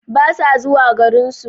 Basa zuwa garinsu